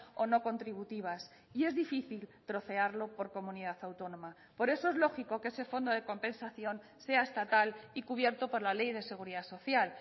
o no contributivas y es difícil trocearlo por comunidad autónoma por eso es lógico que ese fondo de compensación sea estatal y cubierto por la ley de seguridad social